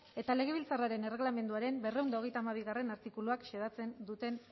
eta legebiltzarraren erreglamenduaren berrehun eta hogeita hamabigarrena artikuluak xedatzen duten